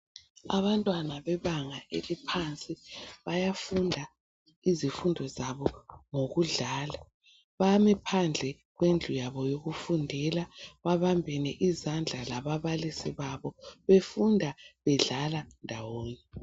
Abantwana bebanga eliphansi bayafunda izifundo zabo ngokudlala. Bame phandle phambi kwendlu yabo yokufundela babambene izandla lababalisi babo bafunda bedlala ndawonye.